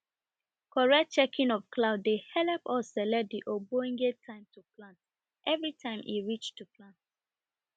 correct checking of cloud dey helep us select de ogbonge time every time e reach